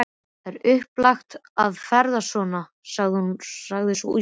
Það er svo upplagt að ferðast svona, sagði sú íslenska.